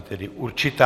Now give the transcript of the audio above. Je tedy určitá.